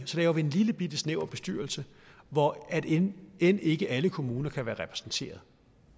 så laver vi en lillebitte snæver bestyrelse hvor end end ikke alle kommuner kan være repræsenteret